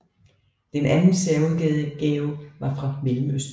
Den anden særudgave var fra Mellemøsten